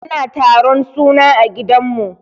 Ana taron suna a gidan mu.